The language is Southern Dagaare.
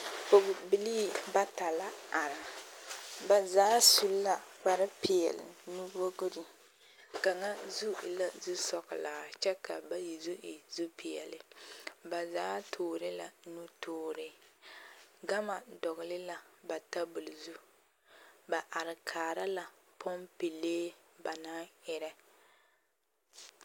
pɔgbilii bata la are ba zaa su la kpare pɛle nuwogre kaŋa zu e la zu sɔŋlɔ a kyɛ ka bayi zu e zu pɛle ba zaa tuure la nutuure gama doŋle la ba tabol zu ba are kaare la poŋpeŋlee ba naŋ erɛ.